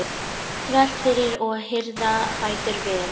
þvert fyrir og hirða fætur vel.